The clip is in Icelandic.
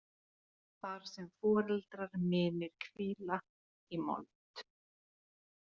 Þar sem foreldrar mínir hvíla í mold.